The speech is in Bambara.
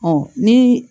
Ɔ ni